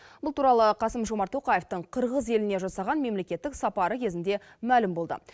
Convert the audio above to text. бұл туралы қасым жомарт тоқаевтың қырғыз еліне жасаған мемлекеттік сапары кезінде мәлім болды